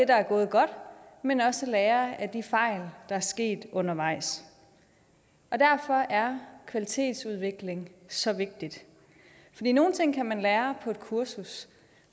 der er gået godt men også at lære af de fejl der er sket undervejs og derfor er kvalitetsudvikling så vigtigt nogle ting kan man lære på et kursus